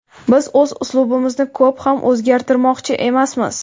Biz o‘z uslubimizni ko‘p ham o‘zgartirmoqchi emasmiz.